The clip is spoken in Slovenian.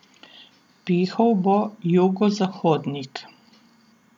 Pihal bo jugozahodnik.